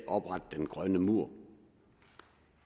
oprette den grønne mur